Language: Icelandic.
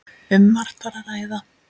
Um margt var að ræða.